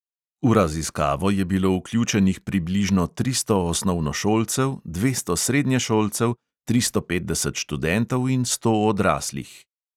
V raziskavo je bilo vključenih približno tristo osnovnošolcev, dvesto srednješolcev, tristo petdeset študentov in sto odraslih.